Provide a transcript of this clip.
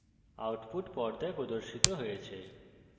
output পর্দায় প্রদর্শিত হয়েছে